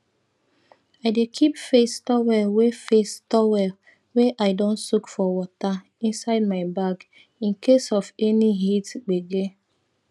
i dey keep face towel wey face towel wey i don soak for water inside my bag in case of any heat gbege